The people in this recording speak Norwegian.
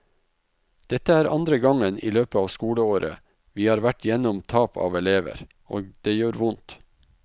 Dette er andre gangen i løpet av skoleåret vi har vært igjennom tap av elever, og det gjør vondt.